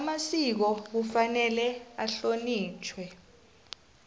amasiko kufanele ahlonitjhwe